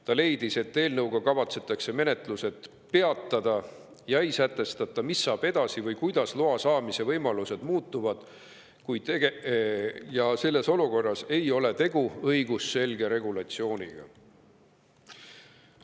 Nad leidsid, et eelnõuga kavatsetakse menetlused peatada, kuid ei sätestata, mis saab edasi või kuidas muutuvad loa saamise võimalused, seega ei ole selles olukorras tegu õigusselge regulatsiooniga.